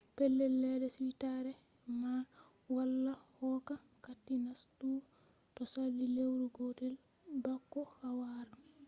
pellel ledde suitare man minae wala hokka kati nastugo to sali lewru gotel bako a wara